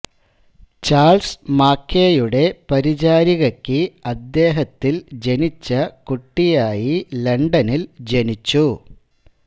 Charles മാക്കേയുടെ പരിചാരികയ്ക്ക് അദ്ദേഹത്തിൽ ജനിച്ച കുട്ടിയായി ലണ്ടനിൽ ജനിച്ചു